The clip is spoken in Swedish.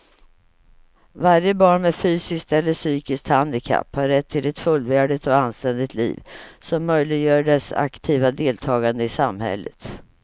Varje barn med fysiskt eller psykiskt handikapp har rätt till ett fullvärdigt och anständigt liv som möjliggör dess aktiva deltagande i samhället.